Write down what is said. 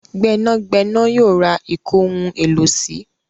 Gbénàgbẹ́nà yóò ra ìkóhun-èlò-sí